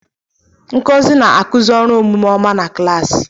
Ngozi na-akụzi ọrụ omume ọma na klaasị.